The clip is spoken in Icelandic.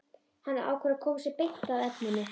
Hann ákveður að koma sér beint að efninu.